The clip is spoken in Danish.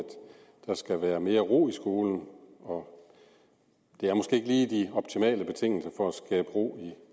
der skal være mere ro i skolen og det er måske ikke lige de optimale betingelser for at skabe ro i